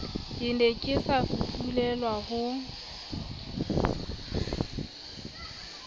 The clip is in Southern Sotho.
ke ne ke safufulelwa ho